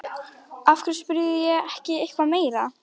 Af hverju spurði ég ekki eitthvað meira?